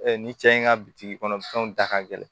ni cɛ in ka bitiki kɔnɔ fɛnw da ka gɛlɛn